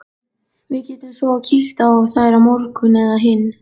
Við getum svo kíkt á þær á morgun eða hinn.